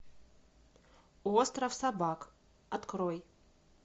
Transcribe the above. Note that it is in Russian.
остров собак открой